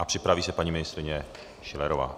A připraví se paní ministryně Schillerová.